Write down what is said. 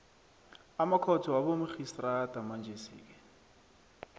amakhotho wabomarhistrada manjesike